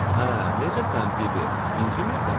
Hə, necəsən, bibi, incimirsən?